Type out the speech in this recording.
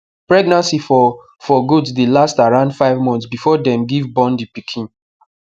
pregnancy for for goat dey last around five months before dem give born the pikin